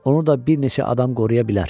Onu da bir neçə adam qoruya bilər.